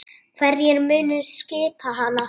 Hverjir munu skipa hana?